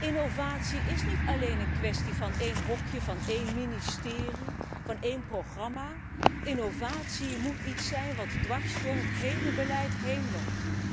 Innovatie is niet alleen een kwestie van één hokje, van één ministerie, van één programma, innovatie moet iets zijn wat dwars door het hele beleid heen loopt.